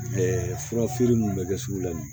furafeere minnu bɛ kɛ sugu la